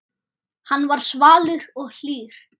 Hann var svalur og hlýr.